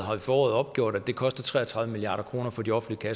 har i foråret opgjort at det koster tre og tredive milliard kroner for de offentlige